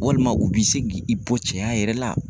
Walima u b'i se k'i bɔ cɛya yɛrɛ la.